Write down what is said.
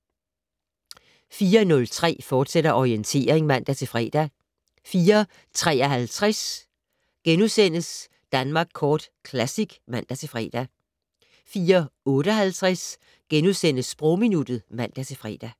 04:03: Orientering, fortsat (man-fre) 04:53: Danmark Kort Classic *(man-fre) 04:58: Sprogminuttet *(man-fre)